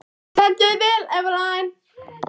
Þú stendur þig vel, Evelyn!